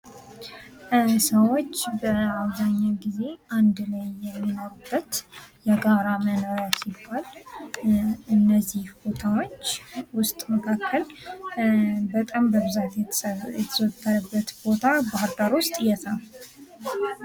ሰዎች በአብዛኛዉ ጊዜ አንድ የተለያየ የሚኖሩበት የጋራ መኖሪያ ሲሆን ከእነዚህ ቦታዎች ዉስጥ መካከል በጣም በብዛት የተዘወተረበት ቦታ ባህርዳር ዉስጥ የት ነዉ?